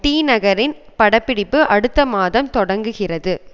டிநகரின் படப்பிடிப்பு அடுத்த மாதம் தொடங்குகிறது